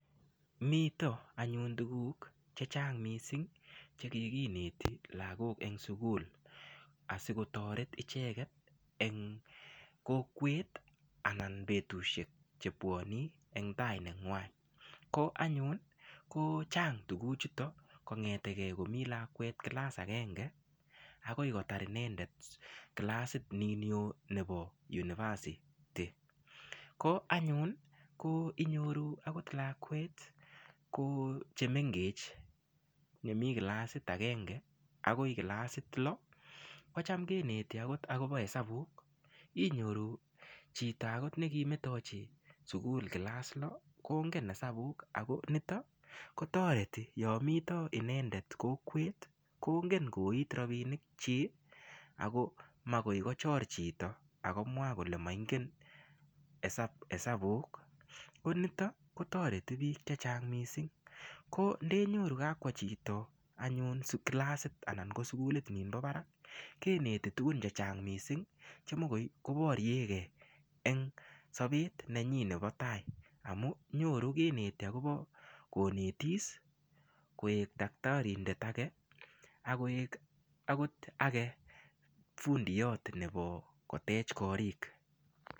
Mito anyun tukuk chechang' mising' chekikineti lakok eng' sukul asiketoret icheget eng' kokwet anan betushek chebwoni eng' tai neng'wai ko anyun kochang' tukuchuto kong'etegei komi lakwet kilas agenge akoi kotar inendet kilasit nin yoo nebo university ko anyun ko inyoru akot lakwet ko chemengech chemi kilasit agenge akoi kilasit loo kocham keneti akot akobo hesabuk inyoru chito akot nekimetochi sukul kilas loo kongen hesabuk ako nito kotoreti yo mito inendet kokwet kongen koit rapinik chi ako makoi kochor chito akomwa kole moingen hesabuk ko nito kotoreti biik chechang' mising' ko ndeyoru kakwo chito anyun kilasit anan ko sukulit ninbo barak keneti tukun chechang' mising' che mikoi koboryekei eng' sobet nenyi nebo tai amu nyoru kineti akobo konetis koek daktarindet Ake akoek akot age fundiyot nebo kotech korik